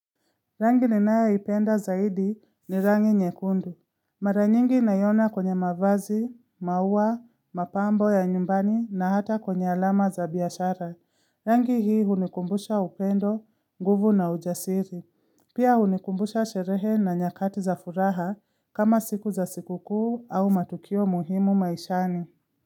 Rangi ninayoipenda zaidi ni rangi nyekundu. Maranyingi naiona kwenye mavazi, mauwa, mapambo ya nyumbani na hata kwenye alama za biashara. Rangi hii hunikumbusha upendo, nguvu na ujasiri. Pia hunikumbusha sherehe na nyakati za furaha kama siku za sikukku au matukio muhimu maishani.